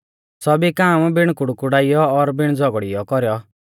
सौभी काम बिण कुड़कुड़ाइयौ और बिण झ़ौगड़िऔ कौरौ